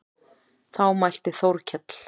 Þá mælti Þórkell